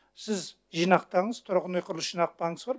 сіз жинақтаңыз тұрғын үй құрылыс жинақ банкісі бар